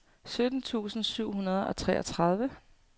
sytten tusind syv hundrede og treogtredive